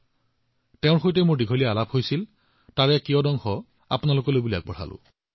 মই তেওঁৰ সৈতে দীঘলীয়াকৈ কথা পাতিছিলো কিন্তু মই আপোনালোকক ইয়াৰে কিছু অংশ কব বিচাৰো